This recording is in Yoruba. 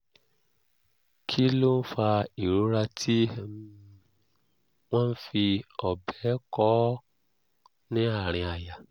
kí ló ń fa ìrora tí um wọ́n ń fi ọ̀bẹ kọ́ ọ ní àárín àyà?